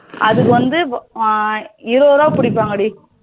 அது வந்து இருபது ரூபா பிடிப்பாங்க டி